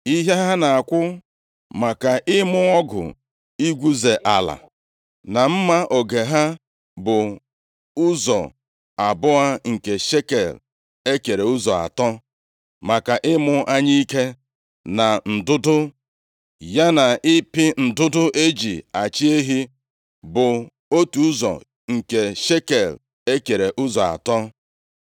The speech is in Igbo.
Ihe ha na-akwụ maka ịmụ ọgụ igwuze ala, na mma oge ha bụ ụzọ abụọ nke shekel e kere ụzọ atọ, maka ịmụ anyụike, na ndụdụ, ya na ịpị ndụdụ e ji achị ehi bụ, otu ụzọ nke shekel e kere ụzọ atọ.